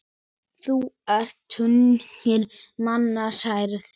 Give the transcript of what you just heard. Þá eru tugir manna særðir.